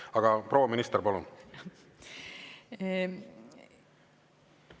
Aga proua minister, palun!